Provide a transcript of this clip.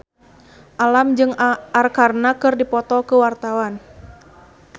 Alam jeung Arkarna keur dipoto ku wartawan